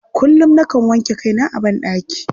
Kullum, nakan wanke kaina a banɗaki.